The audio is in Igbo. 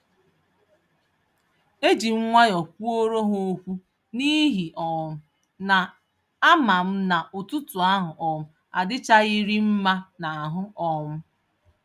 Ejim nwayọ kwuoro ha ókwú, n'ihi um na ámám na ụtụtụ ahụ um adichaghịrị mmá n'ahụ um